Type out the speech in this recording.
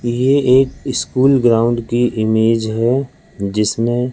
ये एक school ground की इमेज है जिसमें--